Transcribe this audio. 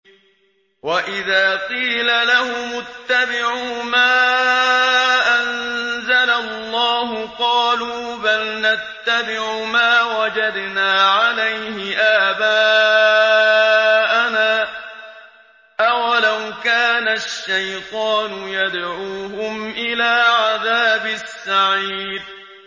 وَإِذَا قِيلَ لَهُمُ اتَّبِعُوا مَا أَنزَلَ اللَّهُ قَالُوا بَلْ نَتَّبِعُ مَا وَجَدْنَا عَلَيْهِ آبَاءَنَا ۚ أَوَلَوْ كَانَ الشَّيْطَانُ يَدْعُوهُمْ إِلَىٰ عَذَابِ السَّعِيرِ